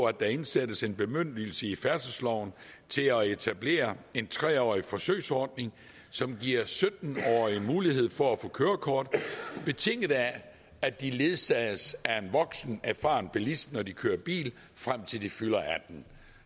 at der indsættes en bemyndigelse i færdselsloven til at etablere en tre årig forsøgsordning som giver sytten årige mulighed for at få kørekort betinget af at de ledsages af en voksen erfaren bilist når de kører bil frem til de fylder attende